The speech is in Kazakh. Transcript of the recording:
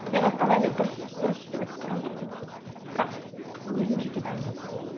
мен эвтаназия дұрыс бұрыс деп айтып тұрған жоқпын бірақ өзім жеке дайын емеспін